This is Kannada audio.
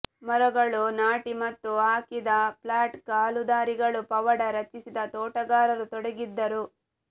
ಮರಗಳು ನಾಟಿ ಮತ್ತು ಹಾಕಿದ ಫ್ಲಾಟ್ ಕಾಲುದಾರಿಗಳು ಪವಾಡ ರಚಿಸಿದ ತೋಟಗಾರರು ತೊಡಗಿದ್ದರು